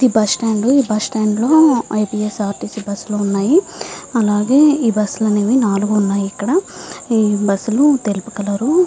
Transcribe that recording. ఇది bus stand ఈ bus stand లో A P S R T C bus లు వున్నాయి అలాగే ఈ బస్సు లు అనేవి నాలుగు వున్నాయ్ ఇక్కడ ఈ బస్సు లు తెలుపు కలర్ --